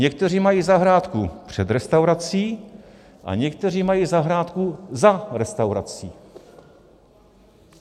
Někteří mají zahrádku před restaurací a někteří mají zahrádku za restaurací.